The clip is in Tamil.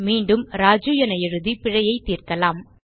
மீண்டும் ராஜு என எழுதி பிழையைத் தீர்க்கலாம்